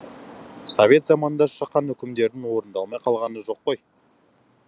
совет заманында шыққан үкімдердің орындалмай қалғаны жоқ қой